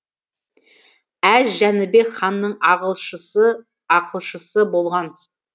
әз жәнібек ханның ақылшысы болған